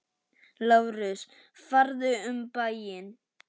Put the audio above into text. LÁRUS: Farðu um bæinn!